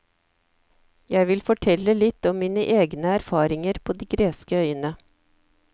Jeg vil fortelle litt om mine egne erfaringer på de greske øyene.